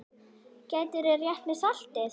Gætirðu rétt mér saltið?